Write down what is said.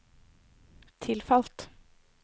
tilfalt